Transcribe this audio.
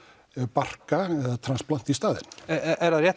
barka í staðinn er rétt